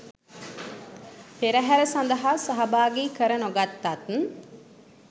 පෙරහැර සඳහා සහභාගී කර නොගත්තත්